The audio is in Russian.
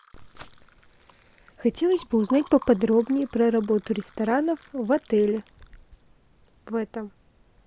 хотелось бы узнать поподробнее про работу ресторанов в отеле в этом